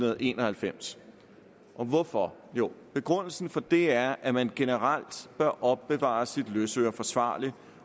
en og halvfems og hvorfor jo begrundelsen for det er at man generelt bør opbevare sit løsøre forsvarligt